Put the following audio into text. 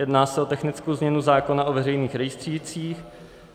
Jedná se o technickou změnu zákona o veřejných rejstřících.